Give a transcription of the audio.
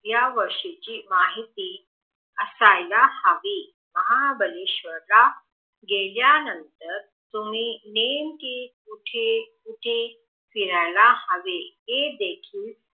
यावर्षीची माहिती असायला हवी महाबळेश्वर ला गेल्या नंतर तुमि नेमके कुठे कुठे फिरायला हवे हे देखील